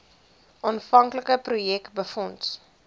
aanvanklike projek befonds